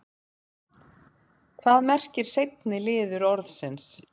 hvað merkir seinni liður orðsins